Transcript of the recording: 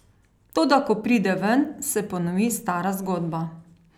Toda ko pride ven, se ponovi stara zgodba.